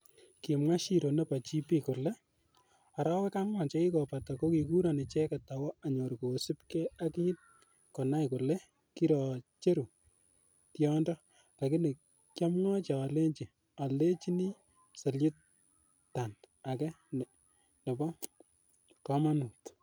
Kimwa shiro nebo GP kole,"Arawek angwan chekikobata, kokikuron icheket awo anyor kosiibge ak kin konai kole kirocheru tiondo, lakini kiamwochi alenyi oldechini Cellutant age nebo komonut."